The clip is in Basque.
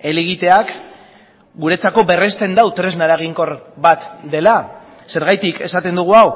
helegiteak guretzako berrezten du tresna eraginkor bat dela zergatik esaten dugu hau